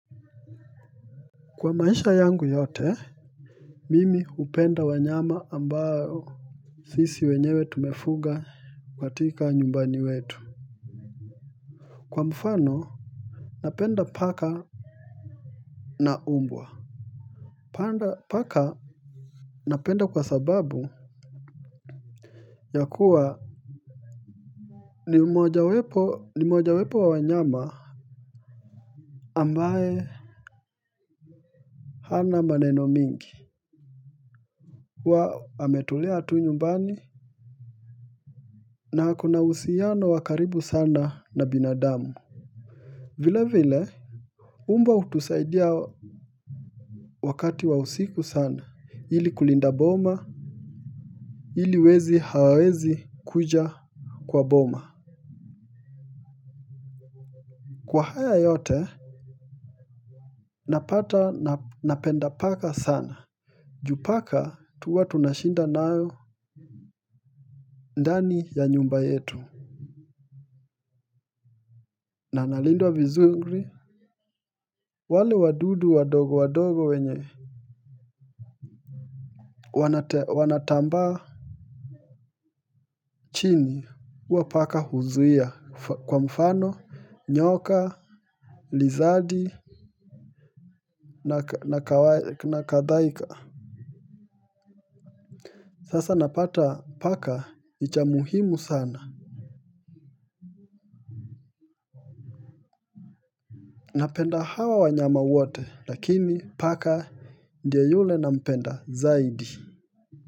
Kwa maisha yangu yote mimi hupenda wanyama ambao sisi wenyewe tumefuga katika nyumbani kwetu kwa mfano napenda paka na mbwa paka napenda kwa sababu ya kuwa ni moja wepo ni moja wepo wa wanyama ambaye ana maneno mingi huwa ametulea tu nyumbani na ako na uhusiano wa karibu sana na binadamu vile vile mbwa hutusaidia wakati wa usiku sana ili kulinda boma ili wezi hawawezi kuja kwa boma Kwa haya yote Napata napenda paka sana juu paka huwa tunashinda nao ndani ya nyumba yetu na nalindwa vizuri wale wadudu wadogo wadogo wenye Wanate wanatambaa chini huwa paka huzuia kwa mfano nyoka Lizadi na kadhaika Sasa napata paka ni cha muhimu sana Napenda hawa wanyama wote lakini paka ndiye yule nampenda zaidi.